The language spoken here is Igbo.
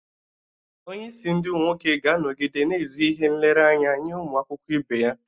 Onye isi ndi nwoke ga-anọgide na ezi ihe nlereanya nye ụmụ akwụkwọ ibe ya.